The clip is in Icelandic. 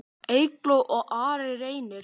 Eygló og Ari Reynir.